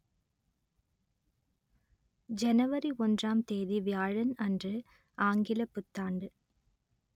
ஜனவரி ஒன்றாம் தேதி வியாழன் அன்று ஆங்கிலப் புத்தாண்டு